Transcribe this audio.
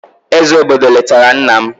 eze obodo letara nna m.